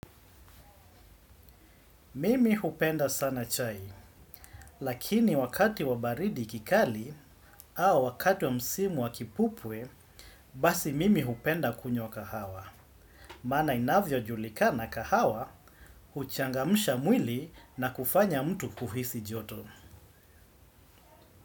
Mimi hupenda sana chai, lakini wakati wa baridi kikali au wakati wa msimu wa kipupwe, basi mimi hupenda kunywa kahawa. Maana inavyojulikana kahawa, huchangamsha mwili na kufanya mtu kuhisi joto.